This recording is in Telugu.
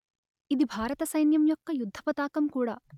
ఇది భారత సైన్యం యొక్క యుద్ధపతాకం కూడా